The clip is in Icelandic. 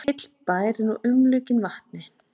Heill bær er nú umlukinn vatni